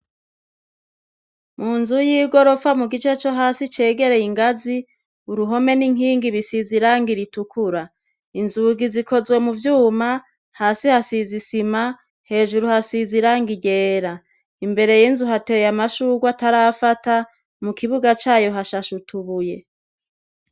Munzu y’igirofa mugice co hasi cegereye ingazi uruhome n’inkingi bisize irangi ritukura, inzugi zikozwe mu vyuma, hasi hasize isima, hejuru hasize irangi ryera ,imbere y’inzu hateye amashurwe atarafata mu kibuga cayo hashashe utubuye.